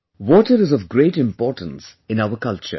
Water is of great importance in our culture